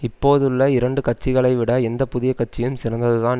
இப்போதுள்ள இரண்டு கட்சிகளைவிட எந்த புதிய கட்சியும் சிறந்ததுதான்